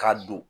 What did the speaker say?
K'a don